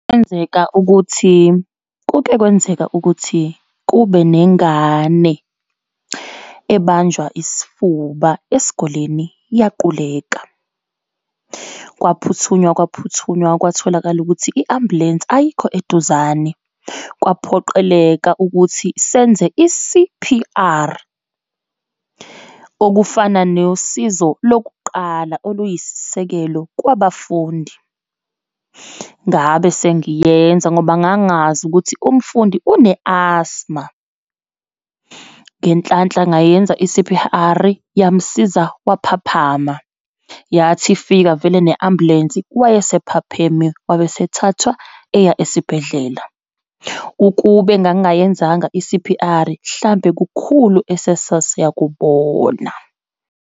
Kuyenzeka ukuthi, kuke kwenzeka ukuthi kube nengane ebanjwa isifuba esikoleni, yaquleka. Kwaphuthunywa, kwaphuthunywa, kwatholakala ukuthi i-ambulensi ayikho eduzane. Kwaphoqeleka ukuthi senze i-C_P_R, okufana nosizo lokuqala oluyisisekelo kwabafundi. Ngabe sengiyenza, ngoba ngangazi ukuthi umfundi une-asthma. Ngenhlanhla ngayenza i-C_P_R, yamsiza, waphaphama. Yathi ifika vele ne ambulensi, wayesephaphame, wabe sethathwa eya esibhedlela. Ukube ngangiyenzanga i-C_P_R, mhlampe kukhulu asasiyakubona.